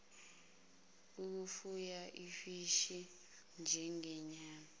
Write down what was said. ukufuya ofishi njengama